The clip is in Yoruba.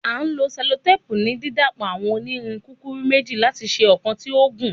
A lo sellotape ni didapọ awọn onirin kukuru meji lati ṣe ọkan ti o gun